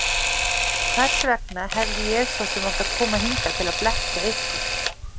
Hvers vegna hefði ég svo sem átt að koma hingað til að blekkja ykkur?